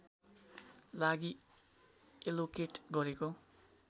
लागि एलोकेट गरेको